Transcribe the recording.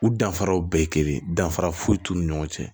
U danfaraw bɛɛ ye kelen danfara foyi t'u ni ɲɔgɔn cɛ